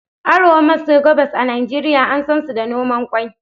Arewa maso gabas a Najeriya an sansu da noman ƙwai.